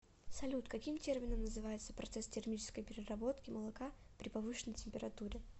салют каким термином называется процесс термической переработки молока при повышенной температуре